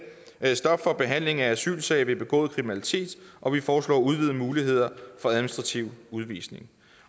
stop for behandling af asylsag ved begået kriminalitet og vi foreslår udvidede muligheder for administrativ udvisning